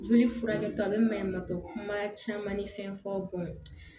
Joli furakɛ a bɛ maɲuman tɛ kuma caman ni fɛn fɔ